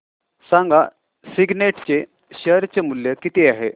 सांगा सिग्नेट चे शेअर चे मूल्य किती आहे